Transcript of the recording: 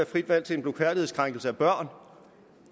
frit valg til en blufærdighedskrænkelse af børn